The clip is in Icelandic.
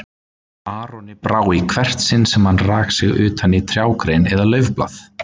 Aroni brá í hvert sinn sem hann rak sig utan í trjágrein eða laufblað.